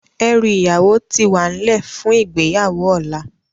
Èrú iyáwó ti wánlè fún igbéyáwó òlá